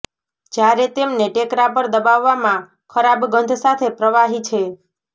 જ્યારે તેમને ટેકરા પર દબાવવામાં ખરાબ ગંધ સાથે પ્રવાહી છે